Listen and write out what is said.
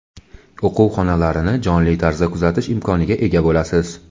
o‘quv xonalarni jonli tarzda kuzatish imkoniga ega bo‘lasiz.